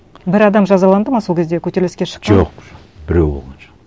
бір адам жазаланды ма сол кезде көтеріліске шыққан жоқ жоқ біреуі болған жоқ